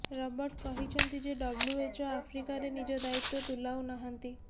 Robert କହିଛନ୍ତି ଯେ WHO ଆଫ୍ରିକାରେ ନିଜ ଦାୟିତ୍ୱ ତୁଲାଉ ନାହାନ୍ତି